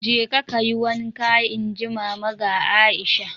"Jeka kayi wanka!" Inji Mama ga Aisha